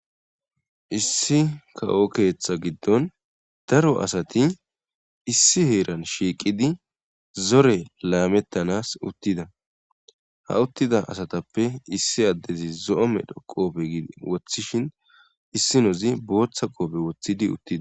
issi kawo keeththa giddon daro asati issi heeran shiiqidi zore laamettanas uttida ha uttida asatappe issi addezi zo7ome dho qoofei woththishin issi nozi booththa qoobe woththidi uttida